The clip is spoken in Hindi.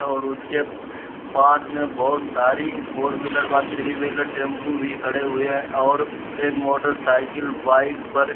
ओर उसके पास में बोहोत सारी फोर व्हीलर व थ्री व्हीलर टेमपु भी खड़े हुए हैं और एक मोटर साइकिल बाइक पर --